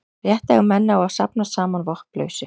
rétt eiga menn á að safnast saman vopnlausir